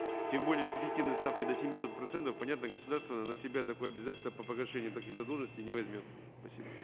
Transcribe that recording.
тем более с эффективной ставкой до семисот процентов понятно государство на себя такое обязательство по погашению таких задолженностей не возьмет спасибо